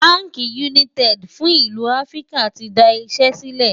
bánkì United fún ìlú áfríkà tí dá Iṣé sílè